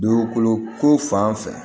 Dugukolo ko fan fɛ